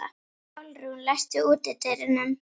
Pálrún, læstu útidyrunum.